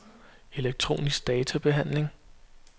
elektronisk databehandling